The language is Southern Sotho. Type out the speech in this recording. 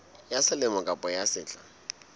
ya selemo kapa ya sehla